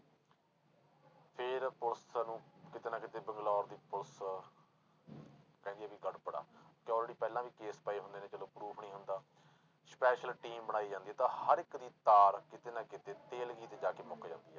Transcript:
ਫਿਰ ਪੁਲਿਸ ਇਹਨੂੰ ਕਿਤੇ ਨਾ ਕਿਤੇ ਬੰਗਲੋਰ ਦੀ ਪੁਲਿਸ ਕਹਿੰਦੀ ਆ ਵੀ ਗੜਬੜ ਆ ਤੇ already ਪਹਿਲਾਂ ਵੀ case ਪਏ ਹੁੰਦੇ ਨੇ ਜਦੋਂ proof ਨੀ ਹੁੰਦਾ special team ਬਣਾਈ ਜਾਂਦੀ ਆ, ਤਾਂ ਹਰ ਇੱਕ ਦੀ ਤਾਰ ਕਿਤੇ ਨਾ ਕਿਤੇ ਤੇਲਗੀ ਤੇ ਜਾ ਕੇ ਮੁੱਕ ਜਾਂਦੀ ਹੈ।